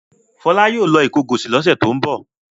Fọlá yóò lọ Ìkọgọ̀sì lọ́sẹ̀ tó ń bọ̀.